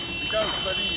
Söndürün, söndürün.